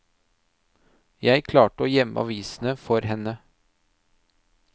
Jeg klarte å gjemme avisene for henne.